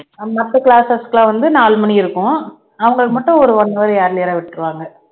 அஹ் மத்த classes க்கு எல்லாம் வந்து நாலு மணி இருக்கும் அவங்களுக்கு மட்டும் ஒரு one hour earlier ஆ விட்டுருவாங்க